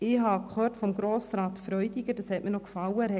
Ich habe von Grossrat Freudiger etwas gehört, das mir gefallen hat.